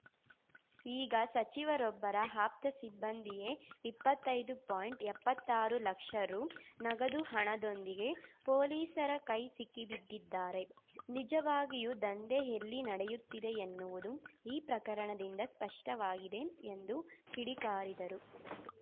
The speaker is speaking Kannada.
ಈಗ ಸಚಿವರೊಬ್ಬರ ಆಪ್ತ ಸಿಬ್ಬಂದಿಯೇ ಇಪ್ಪತ್ತೈದು ಪಾಯಿಂಟ್ಎಪ್ಪತ್ತಾರು ಲಕ್ಷ ರು ನಗದು ಹಣದೊಂದಿಗೆ ಪೊಲೀಸರ ಕೈ ಸಿಕ್ಕಿಬಿದ್ದಿದ್ದಾರೆ ನಿಜವಾಗಿಯೂ ದಂಧೆ ಎಲ್ಲಿ ನಡೆಯುತ್ತಿದೆ ಎನ್ನುವುದು ಈ ಪ್ರಕರಣದಿಂದ ಸ್ಪಷ್ಟವಾಗಿದೆ ಎಂದು ಕಿಡಿಕಾರಿದರು